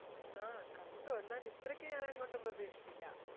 ആഹ് കണ്ടു എന്നാൽ ഇത്രക്ക് ഞാനങ്ങോട്ട് പ്രധീക്ഷിച്ചില്ല